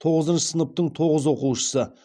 тоғызыншы сыныптың тоғыз оқушысы